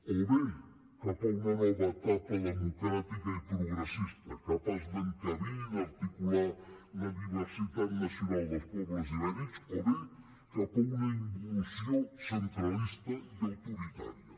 o bé cap a una nova etapa democràtica i progressista capaç d’encabir i d’articular la diversitat nacional dels pobles ibèrics o bé cap a una involució centralista i autoritària